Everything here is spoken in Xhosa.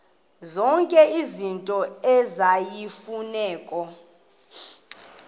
zonke izinto eziyimfuneko